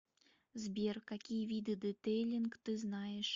сбер какие виды детейлинг ты знаешь